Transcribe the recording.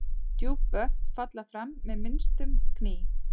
Djúp vötn falla fram með minnstum gný.